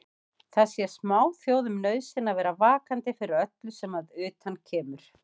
Það sé smáþjóðum nauðsyn að vera vakandi fyrir öllu sem að utan kemur.